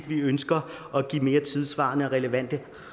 vi ønsker at give mere tidssvarende og relevante